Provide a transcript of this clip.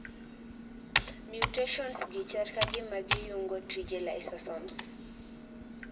Mutations gi chal kagima giyungo tije lysosomes